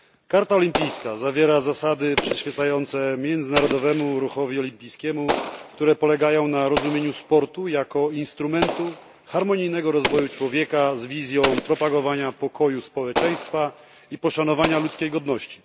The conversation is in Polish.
Karta Olimpijska zawiera zasady przyświecające międzynarodowemu ruchowi olimpijskiemu, które polegają na rozumieniu sportu jako instrumentu harmonijnego rozwoju człowieka z wizją propagowania pokoju w społeczeństwach i poszanowania ludzkiej godności.